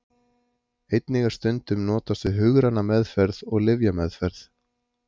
Einnig er stundum notast við hugræna meðferð og lyfjameðferð.